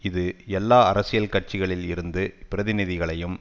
இது எல்லா அரசியல் கட்சிகளில் இருந்து பிரதிநிதிகளையும்